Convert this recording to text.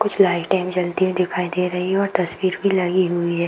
कुछ लाइटे भी जलती हुई दिखाई दे रही है और तस्वीर भी लगी हुई है।